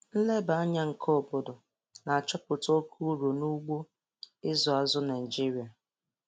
Nleba anya nke obodo na-achọpụta oke uru n'ugbo ịzụ azụ Naijiria